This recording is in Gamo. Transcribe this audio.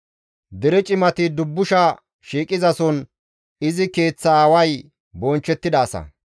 Dere cimati dubbusha shiiqizason izi keeththa aaway bonchchettida asa.